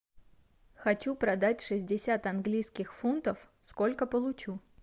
хочу продать шестьдесят английских фунтов сколько получу